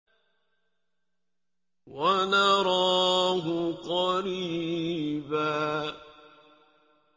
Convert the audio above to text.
وَنَرَاهُ قَرِيبًا